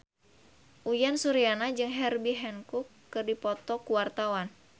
Uyan Suryana jeung Herbie Hancock keur dipoto ku wartawan